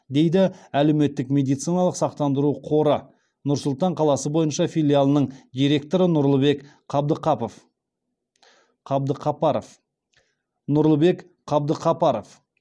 дейді әлеуметтік медициналық сақтандыру қоры нұр сұлтан қаласы бойынша филиалының директоры нұрлыбек қабдықапаров